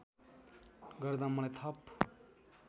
गर्दा मलाई थप